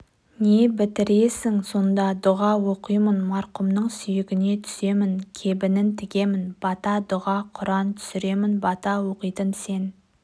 не бітіресің сонда дұға оқимын марқұмның сүйегіне түсемін кебінін тігемін бата-дұға құран түсіремін бата оқитын сен